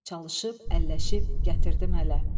Çalışıb, əlləşib gətirdim hələ.